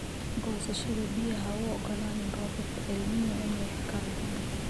Goosashada Biyaha Ha u ogolaanin roobabka El Niño inay kharriban.